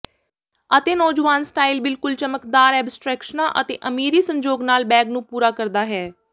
ਅਤੇ ਨੌਜਵਾਨ ਸਟਾਈਲ ਬਿਲਕੁਲ ਚਮਕਦਾਰ ਐਬਸਟਰੈਕਸ਼ਨਾਂ ਅਤੇ ਅਮੀਰੀ ਸੰਜੋਗ ਨਾਲ ਬੈਗ ਨੂੰ ਪੂਰਾ ਕਰਦਾ ਹੈ